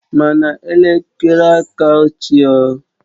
Mana elekere aka ochie o